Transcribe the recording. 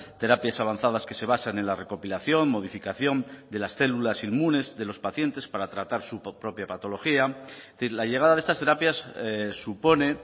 terapias avanzadas que se basan en la recopilación modificación de las células inmunes de los pacientes para tratar su propia patología es decir la llegada de estas terapias supone